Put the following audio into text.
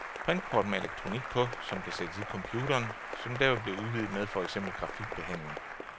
Printkort med elektronik på, som kan sættes i computeren, som derved bliver udvidet med for eksempel grafikbehandling.